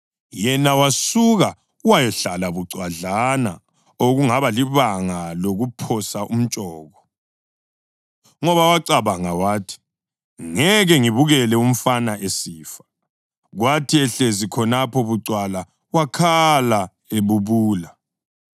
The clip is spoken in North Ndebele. Yena wasuka wayahlala bucwadlana, okungaba libanga lokuphosa umtshoko, ngoba wacabanga wathi, “Ngeke ngibukele umfana esifa.” Kwathi ehlezi khonapho bucwala wakhala ebubula.